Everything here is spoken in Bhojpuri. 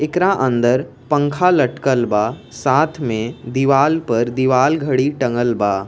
एकरा अंदर पंखा लटकल बा साथ में दिवाल पर दिवाल घड़ी टंगल बा।